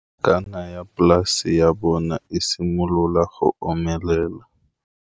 Nokana ya polase ya bona, e simolola go omelela.